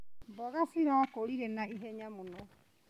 Mboga cirakũrire na ihenya mũno.